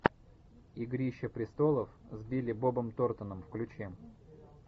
игрища престолов с билли бобом торнтоном включи